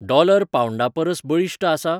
Dollar पाऊंडापरस बळिश्ट आसा?